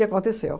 E aconteceu.